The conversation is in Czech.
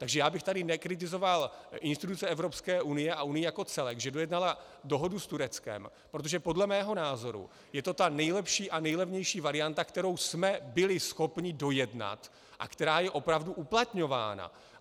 Takže já bych tady nekritizoval instituce Evropské unie a unii jako celek, že dojednala dohodu s Tureckem, protože podle mého názoru je to ta nejlepší a nejlevnější varianta, kterou jsme byli schopni dojednat a která je opravdu uplatňována.